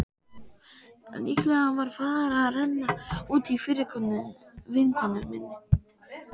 Líklega var farið að renna út í fyrir vinkonu minni.